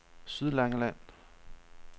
Sydlangeland